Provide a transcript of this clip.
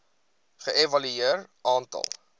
ge evalueer aantal